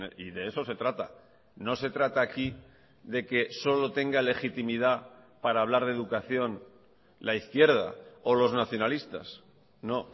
y de eso se trata no se trata aquí de que solo tenga legitimidad para hablar de educación la izquierda o los nacionalistas no